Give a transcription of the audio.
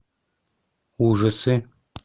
ужасы